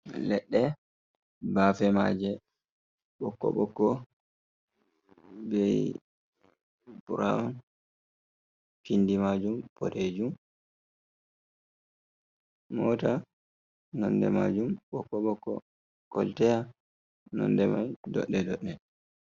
Ledde bafemaje bokko bokko be brown pindi majum podejum, mota nonde majum bokko boko kolteya nonde mai dodde dodde.